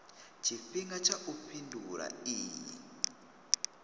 tshifhinga tsha u fhindula iyi